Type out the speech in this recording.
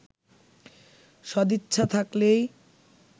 সদিচ্ছা থাকলেই